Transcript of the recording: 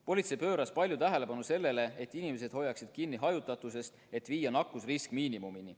Politsei pööras palju tähelepanu sellele, et inimesed hoiaksid kinni hajutatusest, et viia nakkusrisk miinimumini.